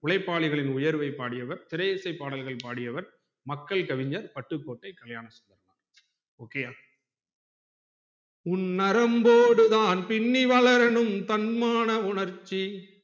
உழைப்பாளிகளின் உயர்வை பாடியவர் திரை இசை பாடல்கள் பாடியவர் மக்கள் கவிஞர் பட்டுக்கோட்டை கல்யாணசுந்தர் ok யா உன் நரம்போடுத்தான் பின்னி வளரனும் தன்மான உணர்ச்சி